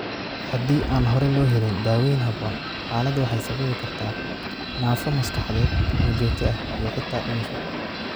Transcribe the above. Haddii aan hore loo helin, daaweyn habboon, xaaladdu waxay sababi kartaa naafo maskaxeed oo joogto ah iyo xitaa dhimasho.